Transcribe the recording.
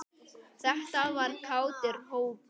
Þetta var kátur hópur.